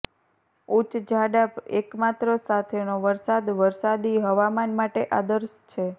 ઉચ્ચ જાડા એકમાત્ર સાથેનો વરસાદ વરસાદી હવામાન માટે આદર્શ છે